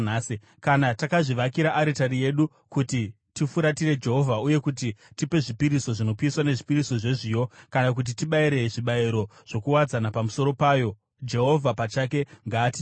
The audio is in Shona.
Kana takazvivakira aritari yedu kuti tifuratire Jehovha uye kuti tipe zvipiriso zvinopiswa nezvipiriso zvezviyo, kana kuti tibayire zvibayiro zvokuwadzana pamusoro payo, Jehovha pachake ngaatitonge.